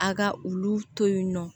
A ka olu to yen nɔ